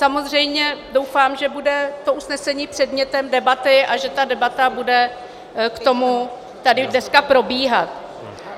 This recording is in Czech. Samozřejmě doufám, že bude to usnesení předmětem debaty a že ta debata bude k tomu tady dneska probíhat.